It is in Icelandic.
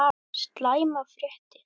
SLÆMAR FRÉTTIR